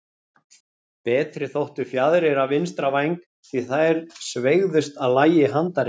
Betri þóttu fjaðrir af vinstra væng, því að þær sveigðust að lagi handarinnar.